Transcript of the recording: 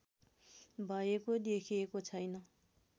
भएको देखिएको छैन